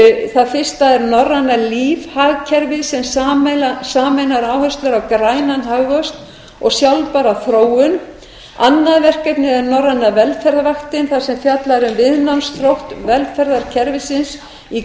það fyrsta er norræna lífhagkerfið sem sameinar áherslur á grænan hagvöxt og sjálfbæra þróun annað verkefnið er norræna velferðarvaktin þar sem fjallað er um viðnámsþrótt velferðarkerfisins í